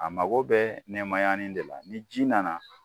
A mago bɛɛ nɛmayani de la ni ji nana